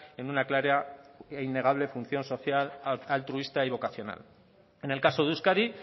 en una clara e innegable función social altruista y vocacional en el caso de euskadi